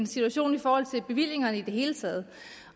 situationen i forhold til bevillingerne i det hele taget